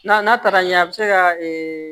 N'a n'a taara ɲɛ a bɛ se ka